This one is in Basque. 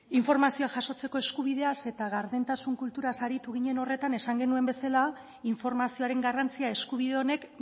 informazioa jasotzeko eskubideaz eta gardentasun kulturaz aritu ginen horretan esan genuen bezala informazioaren garrantzia eskubide honek